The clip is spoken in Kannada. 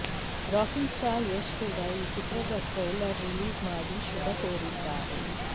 ರಾಕಿಂಗ್ ಸ್ಟಾರ್ ಯಶ್ ಕೂಡ ಈ ಚಿತ್ರದ ಟ್ರೈಲರ್ ರಿಲೀಸ್ ಮಾಡಿ ಶುಭ ಕೋರಿದ್ದಾರೆ